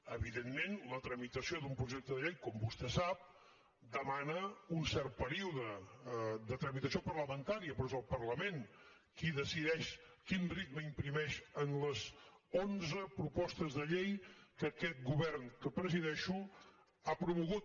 evidentment la tramitació d’un projecte de llei com vostè sap demana un cert període de tramitació parlamentària però és el parlament qui decideix quin ritme imprimeix a les onze propostes de llei que aquest govern que presideixo ha promogut